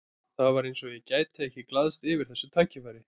Það var eins og ég gæti ekki glaðst yfir þessu tækifæri.